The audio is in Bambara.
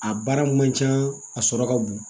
A baara man ca a sɔrɔ ka bon